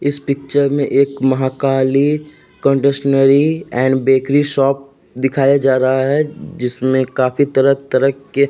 इस पिक्चर में एक Mahakali confectionery and bakery shop दिखाया जा रहा है जिसमें काफी तरह-तरफ के --